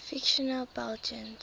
fictional belgians